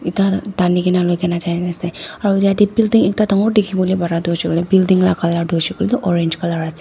tah khan tani ke na loi ke na jai na ase aru yate building ekta dangor dikhi bole pare tu hoise koiley building laga colour tu hoiae koiley orange colour ase.